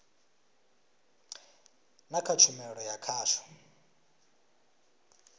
na kha tshumelo ya khasho